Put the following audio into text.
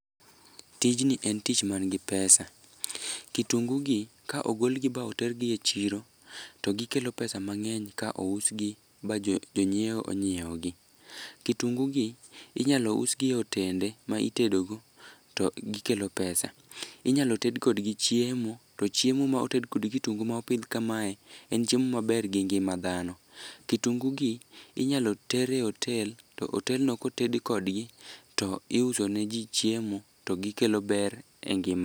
Tijni en tich manigi pesa. Kitungu gi ka ogolgi ba otergi e chiro, to gikelo pesa mang'eny ka ousgi ba jonyiewo onyiewogi. Kitungu gi inyalo usgi e otende ma itedogo, to gikelo pesa. Inyalo ted kodgi chiemo to chiemo ma oted kod kitungu mopidh kamae, en chiemo maber gi ngima dhano. Kitungu gi, inyalo ter e otel to otelno koted kodgi, to iuso neji chiemo ,to gikelo ber e ngima .